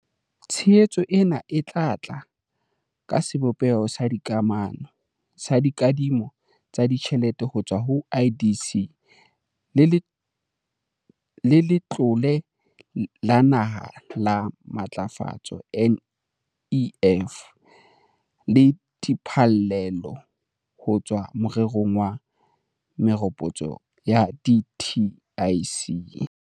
Tshehetso ena e tla tla ka sebopeho sa dikadimo tsa ditjhelete ho tswa ho IDC le Letlole la Naha la Matlafatso, NEF, le diphallelo ho tswa morerong wa meropotso wa dtic.